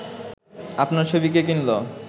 আপনার ছবি কে কিনল